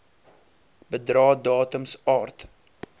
bedrae datums aard